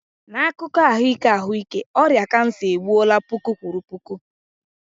N'akụkọ ahụike ahụike, ọrịa kansa egbuola puku kwuru puku.